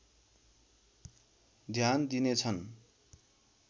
ध्यान दिनेछन्